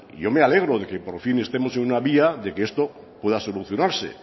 yo me alegro que por fin estemos en una vía de que esto pueda solucionarse